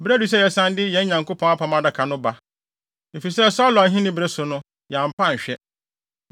Bere adu sɛ yɛsan de yɛn Nyankopɔn Apam Adaka no ba, efisɛ Saulo ahenni bere so no, yɛampɛ anhwɛ.”